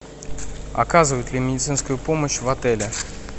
оказывают ли медицинскую помощь в отеле